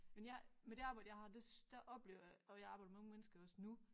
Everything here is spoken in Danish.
Men jeg med det arbejde jeg har det der oplever jeg og jeg arbejder med mange mennesker også nu